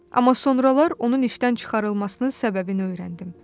Amma sonralar onun işdən çıxarılmasının səbəbini öyrəndim.